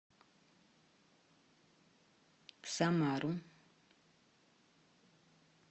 самару